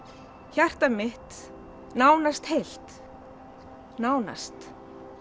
hjarta mitt nánast heilt nánast